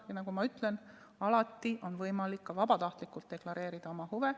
Aga nagu ma ütlesin, alati on võimalik ka vabatahtlikult deklareerida oma huve.